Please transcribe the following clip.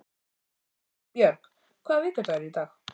Nýbjörg, hvaða vikudagur er í dag?